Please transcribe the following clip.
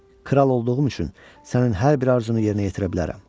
Kral olduğum üçün sənin hər bir arzunu yerinə yetirə bilərəm.